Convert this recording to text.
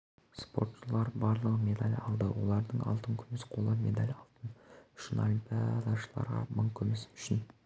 спортшылар барлығы медаль алды олардың алтын күміс қола медаль алтын үшін олимпиадашыларға мың күміс үшін